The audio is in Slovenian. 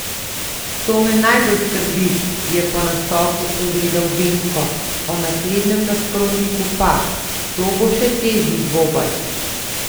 To me najbolj skrbi," je po nastopu povedal Venko, o naslednjem nasprotniku pa: "To bo še težji dvoboj.